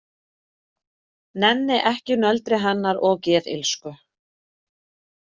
Nenni ekki nöldri hennar og geðillsku.